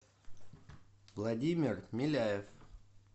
владимир миляев